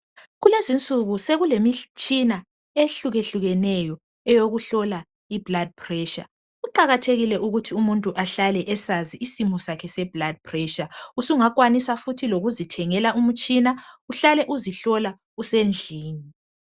Kulezi insuku sokulemtshina ehlukehlukeneyo eyokuhlola i"Blood pressure " .Kuqakathekile ukuthi umuntu ahlale esazi isimo sakhe se"Blood pressure".Usungakwanisa futhi lokuzi thengela umtshina uhlale uzihlola usendlini.